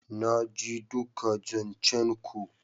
Naji duka zancen ku.